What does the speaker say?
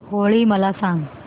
होळी मला सांगा